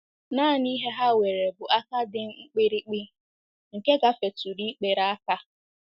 Nanị ihe ha nwere bụ aka dị mkpirikpi nke gafetụrụ ikpere aka.